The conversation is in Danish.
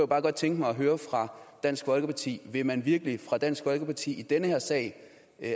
bare godt tænke mig at høre fra dansk folkeparti vil man virkelig fra dansk folkepartis side i den her sag